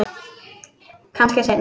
Kannski seinna.